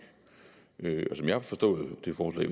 som jeg har forstået det forslag